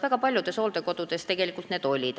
Väga paljudes hooldekodudes olid need tegelikult olemas.